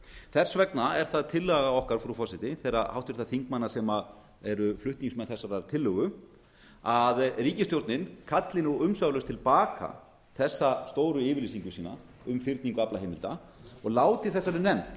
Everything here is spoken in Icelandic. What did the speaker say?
þess vegna er það tillaga okkar frú forseti þeirra háttvirtra þingmanna sem eru flutningsmenn þessarar tillögu að ríkisstjórnin kalli nú umsvifalaust til baka þessa stóru yfirlýsingu sína um fyrningu aflaheimilda og láti þessari nefnd